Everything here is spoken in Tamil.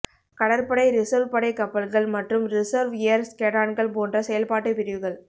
கடற்படை ரிசர்வ் படை கப்பல்கள் மற்றும் ரிசர்வ் ஏர் ஸ்கேடான்கள் போன்ற செயல்பாட்டு பிரிவுகள்